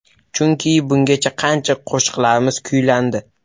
Chunki, bungacha qancha qo‘shiqlarimiz kuylandi.